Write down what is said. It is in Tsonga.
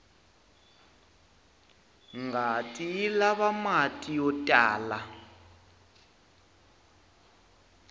ngati yilava mati yotlala